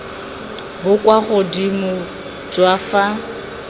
bo kwa godimo jwa fa